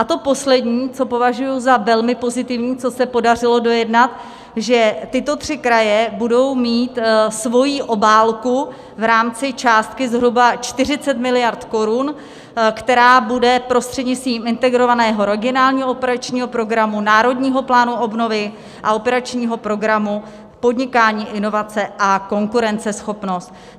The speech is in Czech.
A to poslední, co považuji za velmi pozitivní, co se podařilo dojednat, že tyto tři kraje budou mít svoji obálku v rámci částky zhruba 40 miliard korun, která bude prostřednictvím Integrovaného regionálního operačního programu, Národního plánu obnovy a Operačního programu Podnikání, inovace a konkurenceschopnost.